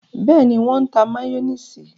Bẹẹni, wọn n tá mayonnaise